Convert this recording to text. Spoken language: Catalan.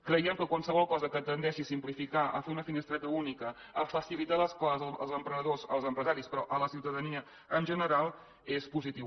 creiem que qualsevol cosa que tendeixi a simplificar a fer una finestreta única a facilitar les coses als emprenedors als empresaris però a la ciutadania en general és positiu